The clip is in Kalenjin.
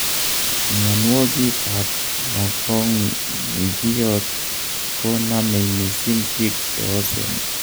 mianwogig ab mogongiot ko namei missing pik che osen